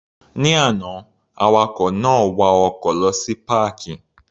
Ní àná, awakọ̀ náà wa ọkọ̀ lọ sí páàkì.